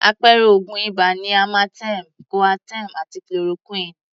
Àpẹẹrẹ oògùn ibà ni amartem, Coaterm àti Chloroquine.